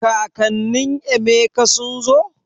Kakanin Emeka sun zo?